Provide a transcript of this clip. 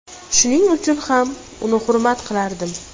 Shuning uchun ham uni hurmat qilardim.